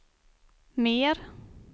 mer